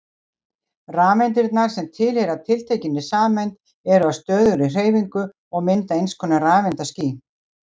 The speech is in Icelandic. Rafeindirnar sem tilheyra tiltekinni sameind eru á stöðugri hreyfingu og mynda einskonar rafeindaský.